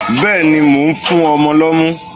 Bẹ́ẹ̀ni, mò ń fún ọmọ lọ́mú.